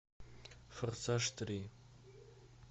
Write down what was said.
форсаж три